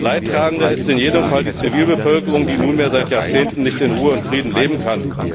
Leidtragende ist in jedem Fall die Zivilbevölkerung, die nunmehr seit Jahrzehnten nicht in Ruhe und Frieden leben kann.